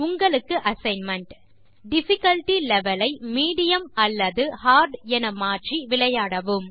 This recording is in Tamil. உங்களுக்கு அசைன்மென்ட் டிஃபிகல்ட்டி லெவல் ஐ மீடியம் அல்லது ஹார்ட் என மாற்றி விளையாடவும்